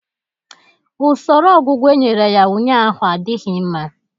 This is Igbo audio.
Usoro ọgwụgwọ e nyere ya ụnyaahụ adịghị mma